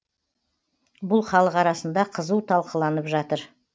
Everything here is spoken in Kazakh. бұл халық арасында қызу талқыланып жатыр